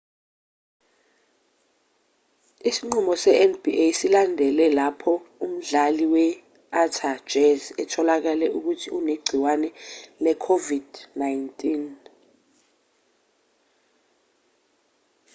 isinqumo se-nba silandele lapho umdlali we-utah jazz etholakale ukuthi unegciwane le-covid-19